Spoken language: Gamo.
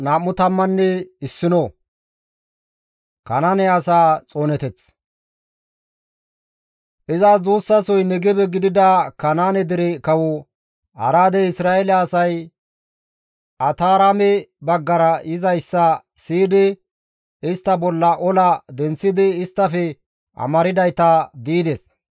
Izas duussasoy Negebe gidida Kanaane dere kawo Araadey Isra7eele asay Ataraame baggara yizayssa siyidi istta bolla ola denththidi isttafe amardayta di7ides.